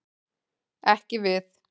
Ekki við.